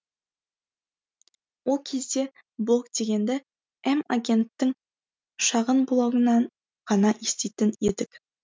ол кезде блог дегенді м агенттің шағын блогынан ғана еститін едік